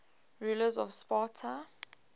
rulers of sparta